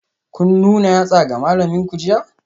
Kun nuna yatsa ga malaminku jiya?